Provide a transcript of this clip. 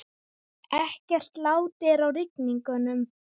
Ekkert lát er á rigningunum